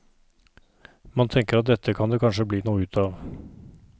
Man tenker at dette kan det kanskje bli noe ut av.